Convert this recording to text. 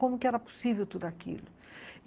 Como que era possível tudo aquilo?